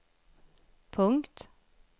punkt